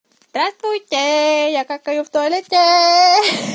здравствуйте я какаю в туалете